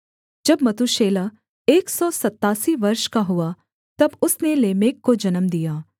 जब मतूशेलह एक सौ सत्तासी वर्ष का हुआ तब उसने लेमेक को जन्म दिया